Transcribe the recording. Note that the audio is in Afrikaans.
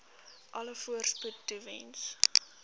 alle voorspoed toewens